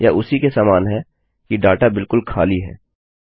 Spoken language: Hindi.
यह उसी के समान है कि डाटा बिलकुल खाली है